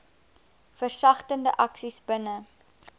versagtende aksies binne